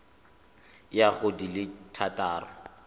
ya go di le thataro